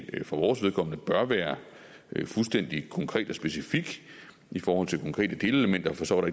for vores vedkommende bør være fuldstændig konkret og specifik i forhold til konkrete delelementer for så var